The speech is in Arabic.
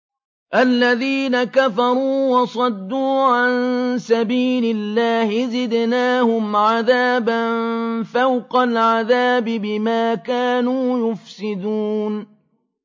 الَّذِينَ كَفَرُوا وَصَدُّوا عَن سَبِيلِ اللَّهِ زِدْنَاهُمْ عَذَابًا فَوْقَ الْعَذَابِ بِمَا كَانُوا يُفْسِدُونَ